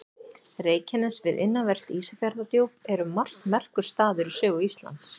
Reykjanes við innanvert Ísafjarðardjúp er um margt merkur staður í sögu Íslands.